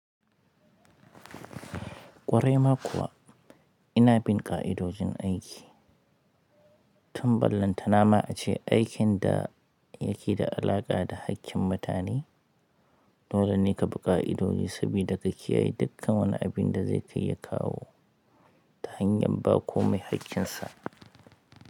Ƙwarai ma kuwa ina bin ƙa'idojin aiki. Tun ballantana ma a ce aikin da yake da alaƙa da hakkin mutane, dole ne ka bi ƙa'idoji sabida ka kiyaye dukkan wani abin da zai kai ya kawo ta hanyar ba komai haƙƙinsa.